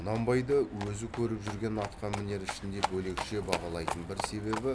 құнанбайды өзі көріп жүрген атқамінер ішінде бөлекше бағалайтын бір себебі